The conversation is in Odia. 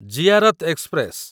ଜିଆରତ ଏକ୍ସପ୍ରେସ